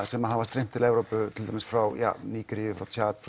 sem hafa streymt til Evrópu til dæmis frá Nígeríu